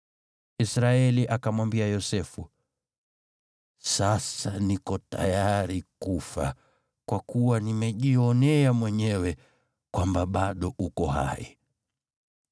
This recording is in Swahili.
Israeli akamwambia Yosefu, “Sasa niko tayari kufa, kwa kuwa nimejionea mwenyewe kwamba bado uko hai.”